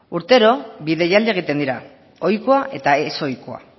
urtero bi deialdi egiten dira ohikoa eta ezohikoa